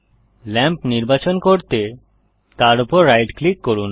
lamp নির্বাচন করতে তার উপর রাইট ক্লিক করুন